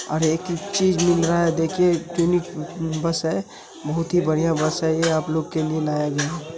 और एक एक चीज मिल रहा है देखिए इतनी बस है बहोत ही बढ़िया बस है ये आप लोग के लिए लाया गया है।